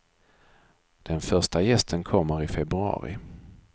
Den första gästen kommer i februari.